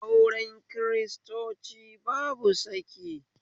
Aure kiristanci babu saki